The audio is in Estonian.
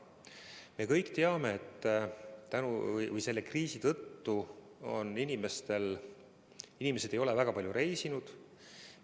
Me kõik teame, et selle kriisi tõttu ei ole inimesed väga palju reisinud.